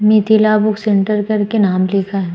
Mithila book centre करके नाम लिखा ह ।